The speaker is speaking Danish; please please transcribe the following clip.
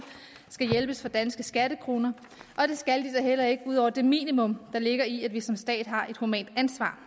skal hjælpes for danske skattekroner og det skal de da heller ikke ud over det minimum der ligger i at vi som stat har et humant ansvar